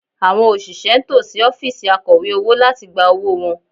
Àwọn òṣìṣẹ́ ń tò sí ọ́fíìsì Akọ̀wé owó láti gba owó wọn